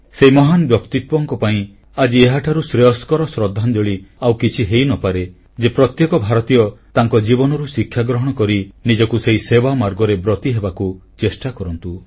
ସେହି ମହାନ ବ୍ୟକ୍ତିତ୍ୱଙ୍କ ପାଇଁ ଆଜି ଏହାଠାରୁ ଶ୍ରେୟସ୍କର ଶ୍ରଦ୍ଧାଞ୍ଜଳି ଆଉ କିଛି ହୋଇନପାରେ ଯେ ପ୍ରତ୍ୟେକ ଭାରତୀୟ ତାଙ୍କ ଜୀବନରୁ ଶିକ୍ଷା ଗ୍ରହଣ କରି ନିଜକୁ ସେହି ସେବା ମାର୍ଗରେ ବ୍ରତୀ ହେବାକୁ ଚେଷ୍ଟା କରନ୍ତୁ